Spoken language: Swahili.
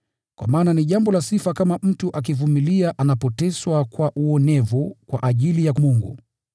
Kwa maana ni jambo la sifa kama mtu akivumilia anapoteswa kwa uonevu kwa ajili ya Mungu.